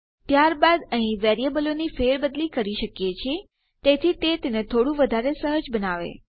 ત્યારબાદ અહીં વેરીએબલોની ફેરબદલી કરી શકીએ છીએ તેથી તે તેને થોડું વધારે સહજ બનાવે